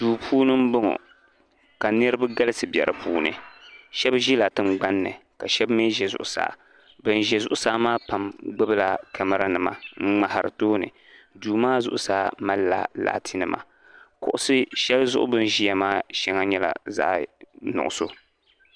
Duu puuni m boŋɔ ka niriba galisi be dipuuni sheba ʒila tingbanni ka sheba mee ʒɛ zuɣusaa bin ʒɛ zuɣusaa maa pam gbibila kamara nima n ŋmahari tooni duu maa zuɣusaa mallila laati nima kuɣusi sheli zuɣu bini ʒia maa sheŋa nyɛla zaɣa nuɣuso.